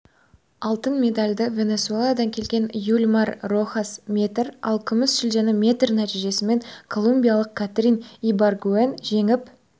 алтын медальді венесуэладан келген юлимар рохас метр ал күміс жүлдені метр нәтижесімен колумбиялық катрин ибаргуэн жеңіп